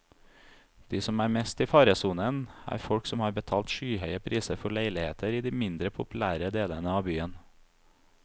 De som er mest i faresonen, er folk som har betalt skyhøye priser for leiligheter i de mindre populære delene av byen.